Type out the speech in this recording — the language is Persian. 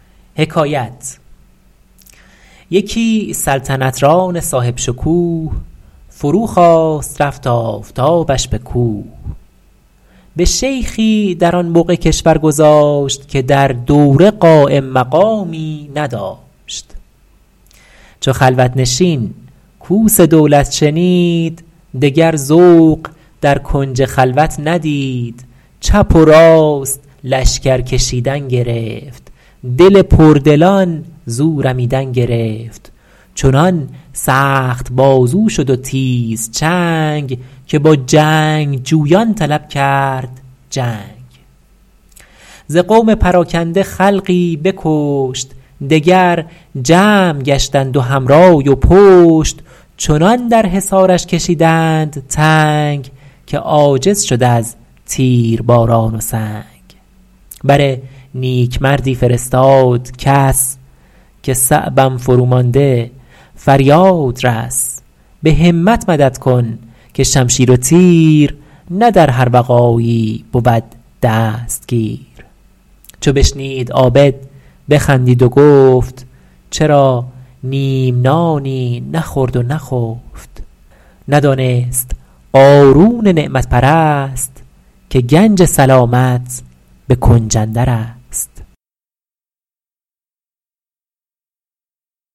یکی سلطنت ران صاحب شکوه فرو خواست رفت آفتابش به کوه به شیخی در آن بقعه کشور گذاشت که در دوره قایم مقامی نداشت چو خلوت نشین کوس دولت شنید دگر ذوق در کنج خلوت ندید چپ و راست لشکر کشیدن گرفت دل پردلان زو رمیدن گرفت چنان سخت بازو شد و تیز چنگ که با جنگجویان طلب کرد جنگ ز قوم پراکنده خلقی بکشت دگر جمع گشتند و هم رای و پشت چنان در حصارش کشیدند تنگ که عاجز شد از تیرباران و سنگ بر نیکمردی فرستاد کس که صعبم فرومانده فریاد رس به همت مدد کن که شمشیر و تیر نه در هر وغایی بود دستگیر چو بشنید عابد بخندید و گفت چرا نیم نانی نخورد و نخفت ندانست قارون نعمت پرست که گنج سلامت به کنج اندر است